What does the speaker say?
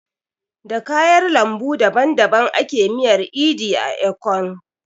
Da kayar lambu daban daban ake miyar edi ka, ekong